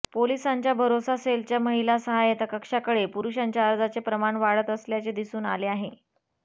पोलिसांच्या भरोसा सेलच्या महिला सहायता कक्षाकडे पुरुषांच्या अर्जाचे प्रमाण वाढत असल्याचे दिसून आले आहे